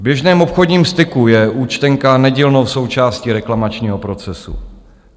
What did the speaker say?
V běžném obchodním styku je účtenka nedílnou součástí reklamačního procesu.